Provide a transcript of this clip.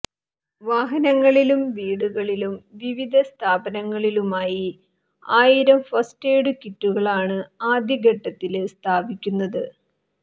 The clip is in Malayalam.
വാഹനങ്ങളിലും വീടുകളിലും വിവിധ സ്ഥാപനങ്ങളിലുമായി ആയിരം ഫസ്റ്റ് എയിഡ് കിറ്റുകളാണ് ആദ്യ ഘട്ടത്തില് സ്ഥാപിക്കുന്നത്